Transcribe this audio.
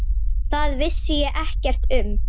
Það vissi ég ekkert um.